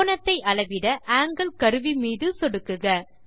கோணத்தை அளவிடAngle கருவி மீது சொடுக்குக